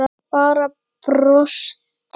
Bara brosti.